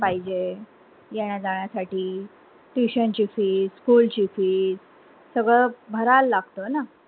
पाहिजे येण्या जाण्या साठी tuition ची fees, school ची fees सगळं भराव लागत ना